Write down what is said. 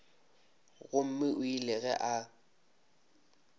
gomme o ile ge a